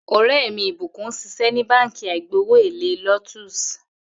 Ò̩ré̩ mi Ìbùkún ń s̩is̩é̩ ní Báǹkì àìgbowó-èlé Lotus